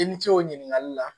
I ni ce o ɲininkali la